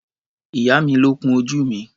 Ìyá mi ló kun ojú mi.